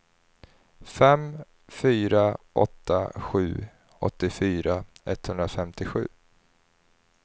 fem fyra åtta sju åttiofyra etthundrafemtiosju